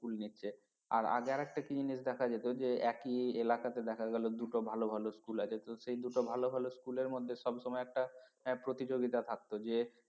School নিচ্ছে। আর আগে আর একটা কি জিনিস দেখা যেত যে একই এলাকাতে দেখা গেল দুটো ভালো ভালো school আছে তো সেই দুটো ভালো ভালো school এর মধ্যে সবসময় একটা প্রতিযোগিতা থাকতো যে